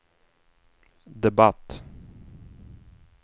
debatt